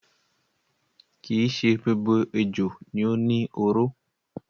Kii ṣe gbogbo ejò ni ó ni oró.